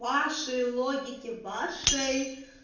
вашей логике вашей